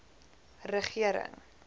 regering